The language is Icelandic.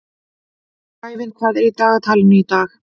Sævin, hvað er í dagatalinu í dag?